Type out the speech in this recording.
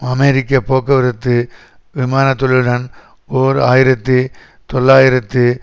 அமெரிக்க போக்குவரத்து விமான தொழிலுடன் ஓர் ஆயிரத்தி தொள்ளாயிரத்து